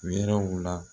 Wɛrɛw la